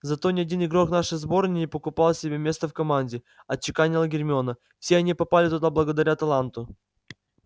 зато ни один игрок нашей сборной не покупал себе место в команде отчеканила гермиона все они попали туда благодаря таланту